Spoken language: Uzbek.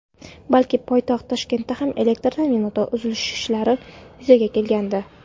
balki poytaxt Toshkentda ham elektr ta’minotida uzilishlar yuzaga kelgandi.